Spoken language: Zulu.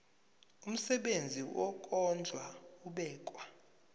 umsebenzi wokondla ubekwa